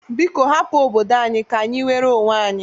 Biko hapụ obodo anyi ka-anyị nwere onwe anyị!